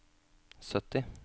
sytti